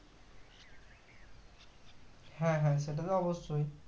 হ্যাঁ হ্যাঁ সেটা তো অবশ্যই